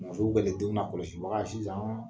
Mɔmuso kɛlen denw nakɔlɔsibaga ye sisan.